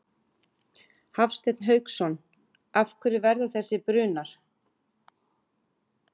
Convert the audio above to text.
Hafsteinn Hauksson: Af hverju verða þessir brunar?